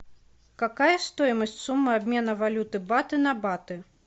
какая стоимость суммы обмена валюты баты на баты